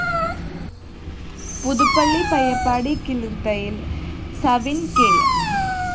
പുതുപ്പള്ളി പയ്യപ്പാടി കിളിര്‍ത്തയില്‍ സവിന്‍ കെ